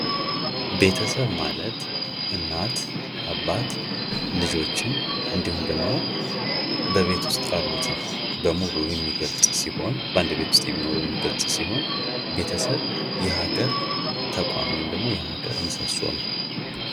ቤተሰብ ማለት እናት፣ አባት ልጆችን እንዲሁም ደግሞ በቤት ዉስጥ ያሉትን በሙሉ የሚገልፅ ሲሆን በአንድ ቤት ዉስጥ የሚኖሩ የሚገልፅ ሲሆን ቤተሰብ የሀገር ተቋም ወይም የሀገር ምሰሶ ነዉ።